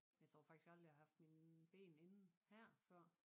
Jeg tror faktisk aldrig jeg har haft mine ben inde her før